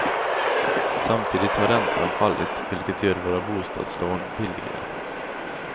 Samtidigt har räntan fallit vilket gör våra bostadslån billigare.